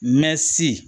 Mɛ si